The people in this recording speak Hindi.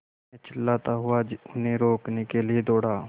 मैं चिल्लाता हुआ उन्हें रोकने के लिए दौड़ा